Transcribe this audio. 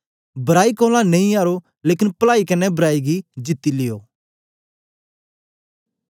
बराई कोलां नेई आरो लेकन पलाई कन्ने बराई गी जीती लियो